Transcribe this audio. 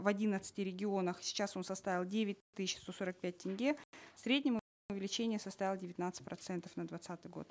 в одиннадцати регионах сейчас он составил девять тысяч сто сорок пять тенге в среднем увеличение составило девятнадцать процентов на двадцатый год